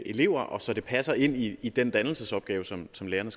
elever og så det passer ind i i den dannelsesopgave som som lærerne